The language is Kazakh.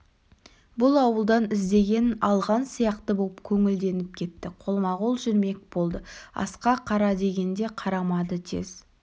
бұл ауылдан іздегенін алған сияқты боп көңілденіп кетті қолма-қол жүрмек болды асқа қара дегенге қарамады тез